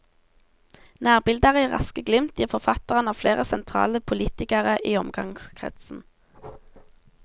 Nærbilder i raske glimt gir forfatteren av flere sentrale politikere i omgangskretsen.